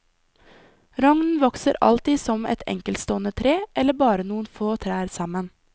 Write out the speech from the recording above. Rognen vokser alltid som et enkeltstående tre eller bare noen få trær sammen.